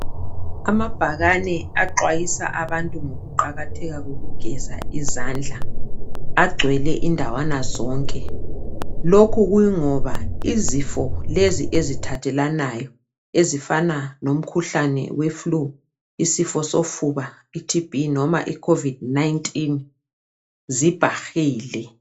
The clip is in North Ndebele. Amabhakane axwayisa abantu ngokuqakatheka kokugeza izandla agcwele indawana zonke. Lokhu kungoba izifo lezi ezithathelanayo ezifana lomkhuhlane we flue isifo sofuba iTB loba i COVID-19 zibhahile.